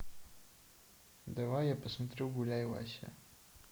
давай я посмотрю гуляй вася